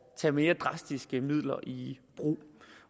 tage mere drastiske midler i brug